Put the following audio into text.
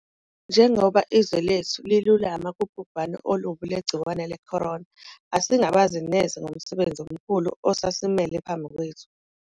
Njengoba izwe lethu lilulama kubhubhane olubi lwegciwane le-corona, asingabazi neze ngomsebenzi omkhulu osasimele phambi kwethu.